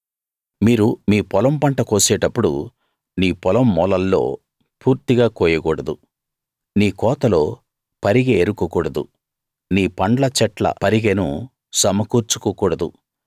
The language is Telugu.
మీరు మీ పొలం పంట కోసేటప్పుడు నీ పొలం మూలల్లొ పూర్తిగా కోయకూడదు నీ కోతలో పరిగె ఏరుకోకూడదు నీ పండ్ల చెట్ల పరిగెను సమకూర్చుకోకూడదు